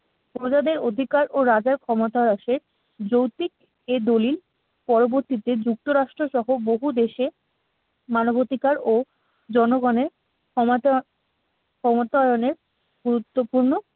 অধিকার ও রাজার ক্ষমতায় আসে যৌক্তিক এ দলিল পরবর্তীতে যুক্তরাষ্ট্রসহ বহুদেশে মানবাধিকার ও জনগণের ক্ষমতা, ক্ষমতায়নের গুরুত্বপূর্ণ